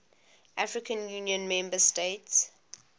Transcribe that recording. african union member states